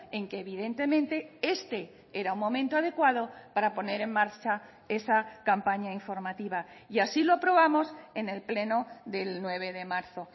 en que evidentemente este era un momento adecuado para poner en marcha esa campaña informativa y así lo aprobamos en el pleno del nueve de marzo